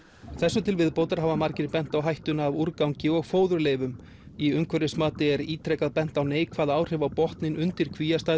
þessu til viðbótar hafa margir bent á hættuna af úrgangi og fóðurleifum í umhverfismati er ítrekað bent á neikvæð áhrif á botninn undir